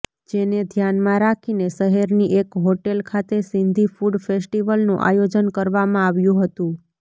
જેને ધ્યાનમાં રાખીને શહેરની એક હોટેલ ખાતે સિંધી ફૂડ ફેસ્ટિવલનું આયોજન કરવામાં આવ્યું હતું